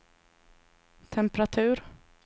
temperatur